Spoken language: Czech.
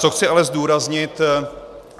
Co chci ale zdůraznit.